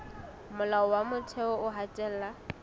molao wa motheo o hatella